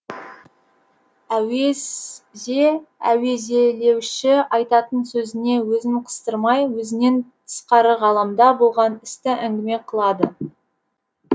әуезе әуезелеуші айтатын сөзіне өзін қыстырмай өзінен тысқары ғаламда болған істі әңгіме қылады